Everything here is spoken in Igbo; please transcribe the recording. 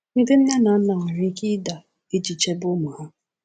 Ndị nne na nna nwere ike ịda iji chebe ụmụ ha.